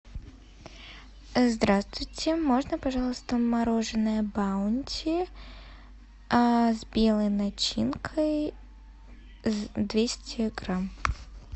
здравствуйте можно пожалуйста мороженое баунти с белой начинкой двести грамм